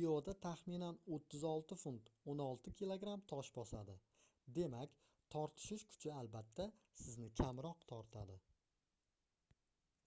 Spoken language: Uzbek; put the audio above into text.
ioda taxminan 36 funt 16 kg tosh bosadi. demak tortishish kuchi albatta sizni kamroq tortadi